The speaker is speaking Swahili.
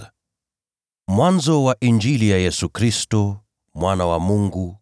Mwanzo wa Injili ya Yesu Kristo, Mwana wa Mungu.